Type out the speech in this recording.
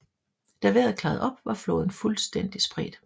Da vejret klarede op var flåden fuldstændig spredt